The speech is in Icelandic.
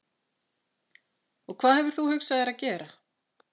Og hvað hefur þú hugsað þér að gera?